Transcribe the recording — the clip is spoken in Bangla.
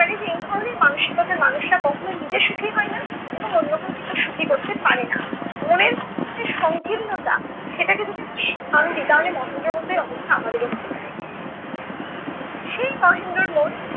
এই ধরনের মানসিকতার মানুষেরা কখনো নিজে সুখী হয় না এবং অন্য কেও কিন্তু সুখী করতে পারে না। মনের মধ্যে যে সংকীর্ণতা সেটাকে যদি আমরা স্থান দিই তাহলে মহেন্দ্রর মতই অবস্থা আমাদেরও হতে পারে। সেই মহেন্দ্রর মন